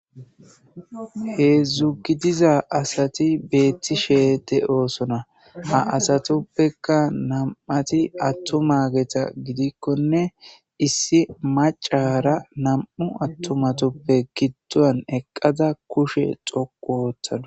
He zugidiza asati beetti sheete oosona ha asatoppeka nam7ati attumageta gidikkone issi macara nam7u attumatoppe giddon eqqada kushe xoqu oottada